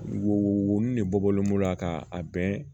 Wo wo wolonfila de bɔlen b'o la ka a bɛn